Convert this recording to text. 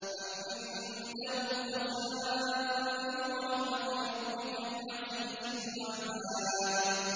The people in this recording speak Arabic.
أَمْ عِندَهُمْ خَزَائِنُ رَحْمَةِ رَبِّكَ الْعَزِيزِ الْوَهَّابِ